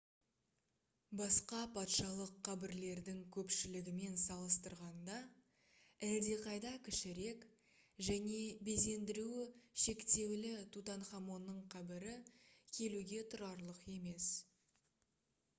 басқа патшалық қабірлердің көпшілігімен салыстырғанда әлдеқайда кішірек және безендіруі шектеулі тутанхамонның қабірі келуге тұрарлық емес